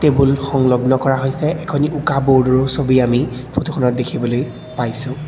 Table সংলগ্ন কৰা হৈছে এখনি উকা বোৰ্ডৰ ছবি আমি দেখিবলৈ পাইছোঁ।